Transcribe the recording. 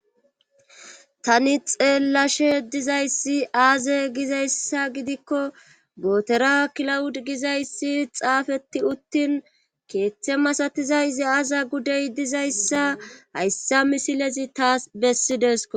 Tani xeellashe dizayssi aaze gizayssa gidikko bootera kilawud gizayssi xaafeti uttin keeththe masatizayzi aaza gudey dizayssa hayssa misilezi taas bessidesko.